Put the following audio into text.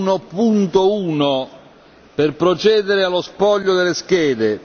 R1.1 per procedere allo spoglio delle schede.